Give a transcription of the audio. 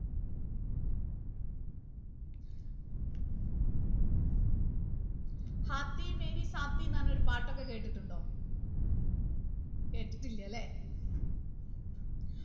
എന്ന് പറഞ്ഞൊരു പാട്ടൊക്കെ കേട്ടിട്ടുണ്ടോ കേട്ടിട്ടില്ലലേ